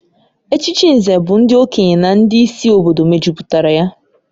Echichi Nze bụ ndị okenye na ndị isi obodo mejupụtara ya